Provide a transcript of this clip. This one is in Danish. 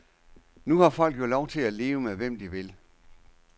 Nu har folk jo lov til at leve med hvem de vil.